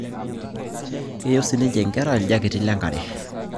Keyieu sininche inkera iljaketi lenkare